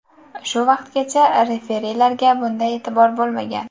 Shu vaqtgacha referilarga bunday e’tibor bo‘lmagan.